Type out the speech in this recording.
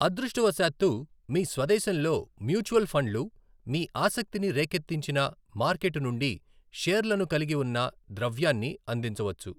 అదృష్టవశాత్తూ, మీ స్వదేశంలో మ్యూచువల్ ఫండ్లు మీ ఆసక్తిని రేకెత్తించిన మార్కెట్ నుండి షేర్లను కలిగి ఉన్న ద్రవ్యాన్ని అందించవచ్చు.